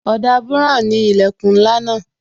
Ọ̀dà buran ni ilẹkun ńlá náà